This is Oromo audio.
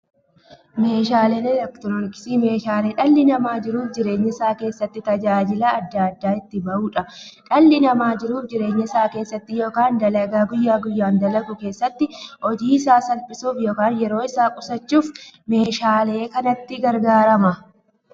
Meeshaaleen elektirooniksii meeshaalee dhalli namaa jiruuf jireenya isaa keessatti, tajaajila adda addaa itti bahuudha. Dhalli namaa jiruuf jireenya isaa keessatti yookiin dalagaa guyyaa guyyaan dalagu keessatti, hojii isaa salphissuuf yookiin yeroo isaa qusachuuf meeshaalee kanatti gargaarama.